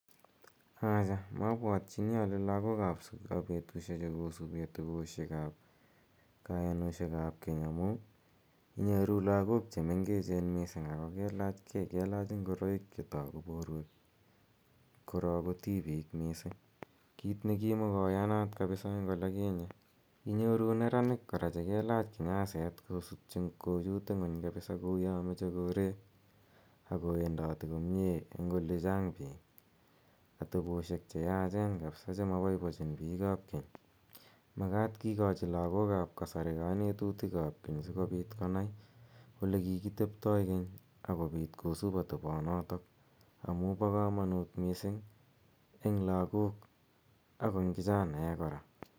Acha mapwatchini ale lagok ap petushechu kosupi ateposhek ap kayanoshek ap keny amu i nyoru lagok che mengechen missing' ako kelach gei, kelach ngoroik che tagu porwek, korok ko tipik missing', kiit ne kimakoyanat kapsa ole kinye. Inyoru neranik kora che kelach kinyaset kochut ing'uny kapsa kou ya mache koreek ako wendati komye eng' ole chang' piik, ateposhek che yaachen kapsa che ma paipachin piik ap keny. Makat kikachi lagok ap kasari kanetutik ap keny si kopit konai ole kiki teptai keny ako pit kosup atepanotok amu pa kamanut missing' eng' lagok ak eng' kichanaek kora.